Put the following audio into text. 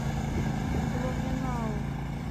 блуменау